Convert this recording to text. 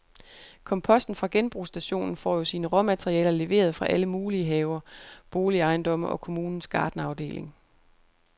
Komposten fra genbrugsstationen får jo sine råmaterialer leveret fra alle mulige haver, boligejendomme og kommunens gartnerafdeling.